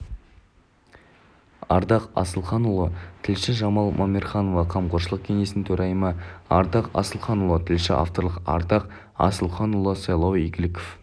ардақ асылханұлы тілші жамал мамерханова қамқоршылық кеңесінің төрайымы ардақ асылханұлы тілші авторлары ардақ асылханұлы сайлау игіліков